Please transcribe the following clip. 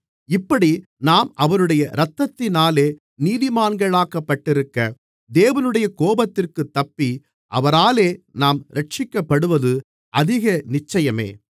இப்படி நாம் அவருடைய இரத்தத்தினாலே நீதிமான்களாக்கப்பட்டிருக்க தேவனுடைய கோபத்திற்குத் தப்பி அவராலே நாம் இரட்சிக்கப்படுவது அதிக நிச்சயமே